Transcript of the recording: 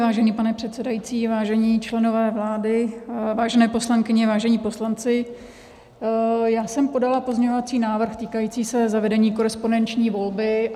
Vážený pane předsedající, vážení členové vlády, vážené poslankyně, vážení poslanci, já jsem podala pozměňovací návrh týkající se zavedení korespondenční volby.